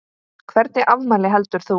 Hvernig afmæli heldur þú?